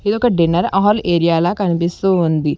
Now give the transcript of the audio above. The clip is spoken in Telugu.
ఇదొక డిన్నర్ హాల్ ఏరియాల కనిపిస్తూ ఉంది.